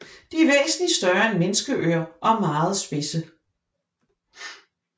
De er væsentligt større end menneskeører og meget spidse